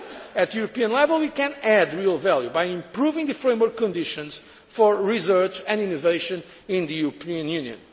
At European level we can add real value by improving the framework conditions for research and innovation in the European Union.